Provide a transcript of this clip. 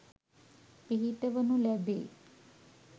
පිහිටවනු ලැබේ.